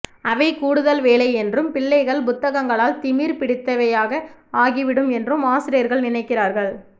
அவை கூடுதல் வேலை என்றும் பிள்ளைகள் புத்தகங்களால் திமிர் பிடித்தவையாக ஆகிவிடும் என்றும் ஆசிரியர்கள் நினைக்கிறார்கள்